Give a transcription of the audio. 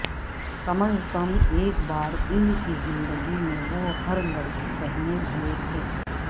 کم از کم ایک بار ان کی زندگی میں وہ ہر لڑکی پہنے ہوئے تھے